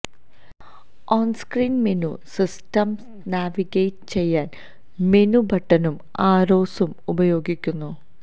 on-screen menu system navigate ചെയ്യാൻ menu ബട്ടണും ആരോസും ഉപയോഗിക്കുന്നു